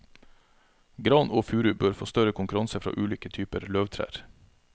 Gran og furu bør få større konkurranse fra ulike typer løvtrær.